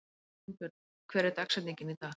Jónbjörn, hver er dagsetningin í dag?